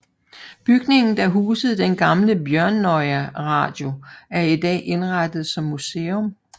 Bygningen der husede den gamle Bjørnøya Radio er i dag indrettet som museum